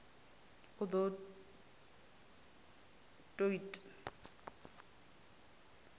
u d o t ut